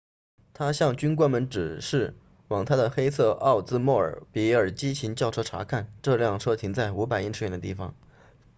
她向军官们指示往她的黑色奥兹莫比尔激情轿车查看这辆车停在500英尺远的地方